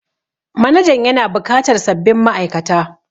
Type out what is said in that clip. Manajan yana bukatar sabbin ma'aikata